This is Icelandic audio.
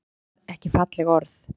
Fólk borðar ekki falleg orð